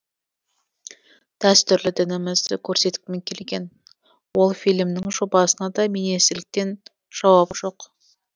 дәстүрлі дінімізді көрсеткім келген ол фильмнің жобасына да министрліктен жауап жоқ